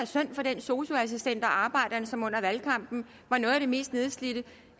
synd for den sosu assistent og arbejderen som under valgkampen var noget af det mest nedslidte